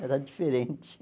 Era diferente.